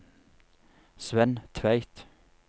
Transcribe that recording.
Svenn Tveit